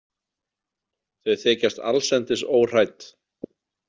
Þau þykjast allsendis óhrædd.